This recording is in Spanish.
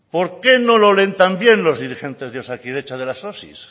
por qué no lo leen también los dirigentes de osakidetza de las osi